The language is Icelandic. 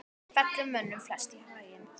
fellur mönnum flest í haginn